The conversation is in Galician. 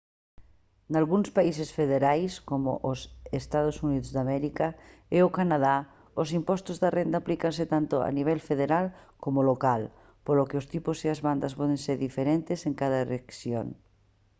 nalgúns países federais como os eua e o canadá o imposto da renda aplícase tanto a nivel federal coma local polo que os tipos e as bandas poden ser diferentes en cada rexión